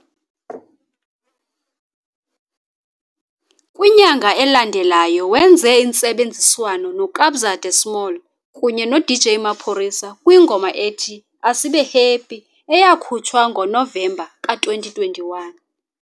Kwinyanga elandelayo wenze intsebenziswano noKabza de Small kunye noDJ Maphorisa kwingoma ethi "Asibe Happy" eyakhutshwa ngoNovemba ka-2021.